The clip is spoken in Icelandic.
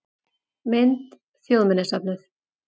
Mynd: Þjóðminjasafnið